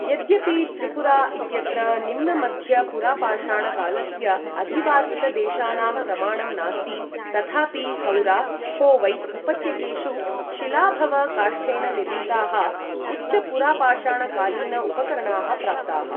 यद्यपि त्रिपुरा इत्यत्र निम्न मध्य पुरापाषाण कालस्य अधिवासितदेशानां प्रमाणं नास्ति, तथापि हौरा खोवै उपत्यकेषु शिलाभव काष्ठेन निर्मिताः उच्च पुरापाषाणकालीन उपकरणाः प्राप्ताः।